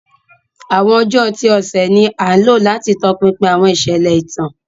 Awọn ọjọ ti ọsẹ ni a lo lati tọpinpin awọn iṣẹlẹ itan.